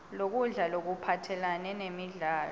lokudla lokuphathelane nemidlo